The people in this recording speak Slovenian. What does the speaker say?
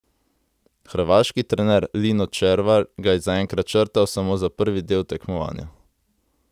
Hrvaški trener Lino Červar ga je zaenkrat črtal samo za prvi del tekmovanja.